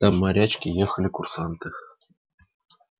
там морячки ехали курсанты